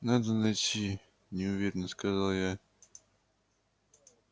надо найти неуверенно сказал я